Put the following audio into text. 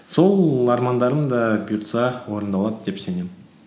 сол армандарым да бұйырса орындалады деп сенемін